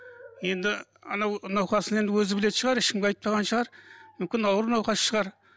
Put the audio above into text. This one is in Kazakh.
енді анау науқасын енді өзі білетін шығар ешкімге айтпаған шығар мүмкін ауыр науқас шығар